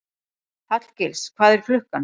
Hallgils, hvað er klukkan?